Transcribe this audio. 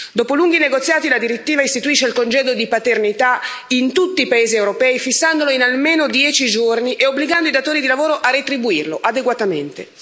Dopo lunghi negoziati, la direttiva istituisce il congedo di paternità in tutti i paesi europei, fissandolo in almeno dieci giorni e obbligando i datori di lavoro a retribuirlo adeguatamente.